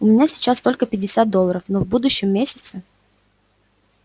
у меня сейчас только пятьдесят долларов но в будущем месяце